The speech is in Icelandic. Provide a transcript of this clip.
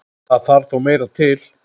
Það þarf þó meira til.